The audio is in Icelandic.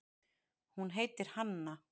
Hún heitir Hanna.